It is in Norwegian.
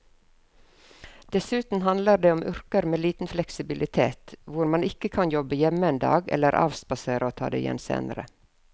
Dessuten handler det om yrker med liten fleksibilitet hvor man ikke kan jobbe hjemme en dag eller avspasere og ta det igjen senere.